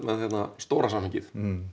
stóra samhengið